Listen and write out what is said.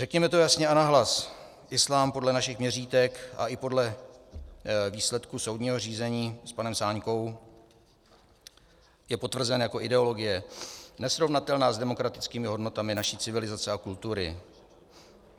Řekněme to jasně a nahlas: Islám podle našich měřítek a i podle výsledků soudního řízení s panem Sáňkou je potvrzen jako ideologie nesrovnatelná s demokratickými hodnotami naší civilizace a kultury.